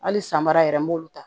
Hali sanbara yɛrɛ n b'olu ta